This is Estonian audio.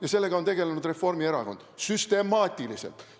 Ja sellega on tegelenud Reformierakond süstemaatiliselt.